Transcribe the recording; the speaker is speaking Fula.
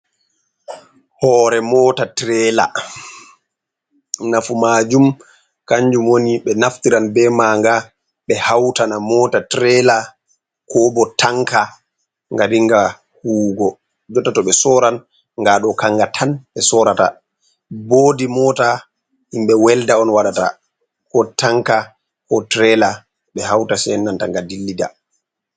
Hore mota tirela. Nafu majum kanjum woni ɓe naftiran be maanga ɓe hautana mota tirela ko bo tanka nga dinga huwugo. Jotta to ɓe soran ngaa ɗo kanga tan ɓe sorata. Bodi mota himɓe welda on waɗata ko tanka, ko tirela ɓe hauta sei nanta nga dilli da.